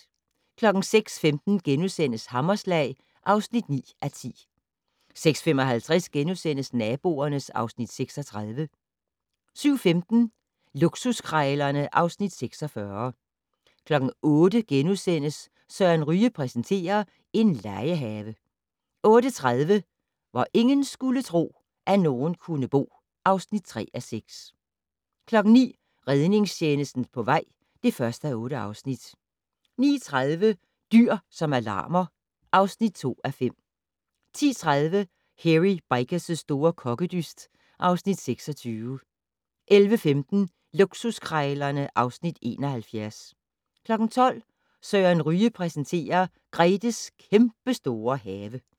06:15: Hammerslag (9:10)* 06:55: Naboerne (Afs. 36)* 07:15: Luksuskrejlerne (Afs. 46) 08:00: Søren Ryge præsenterer: En legehave * 08:30: Hvor ingen skulle tro, at nogen kunne bo (3:6) 09:00: Redningstjenesten på vej (1:8) 09:30: Dyr som alarmer (2:5) 10:30: Hairy Bikers' store kokkedyst (Afs. 26) 11:15: Luksuskrejlerne (Afs. 71) 12:00: Søren Ryge præsenterer: Gretes kæmpestore have